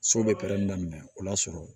So bɛ pɛrɛn daminɛ o y'a sɔrɔ